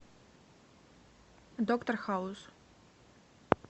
доктор хаус